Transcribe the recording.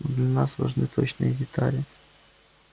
но для нас важны точные детали